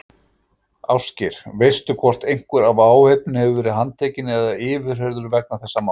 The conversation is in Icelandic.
Ásgeir: Veistu hvort einhver af áhöfninni hefur verið handtekinn eða yfirheyrður vegna þessa máls?